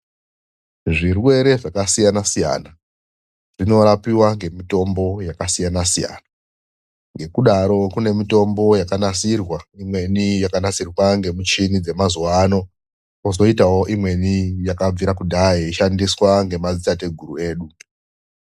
ZVIRWERE ZVAKASIYANA SIYANA ZVINORAPIWA NEMITOMBO YAKASIYANA SIYANA . NGEKUDARO KUNE MITOMBO YAKANASIRWA IMWENI YAKANASIRWA NGEMICHINI DZEMAZUWANO. KOZOITAWO IMWENI YAKABVIRA KUDHAYA YEISHANDISWA NGEMADZITATEGURU EDU.